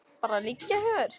Bara liggja hjá þér.